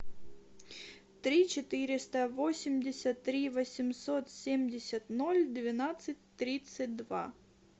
три четыреста восемьдесят три восемьсот семьдесят ноль двенадцать тридцать два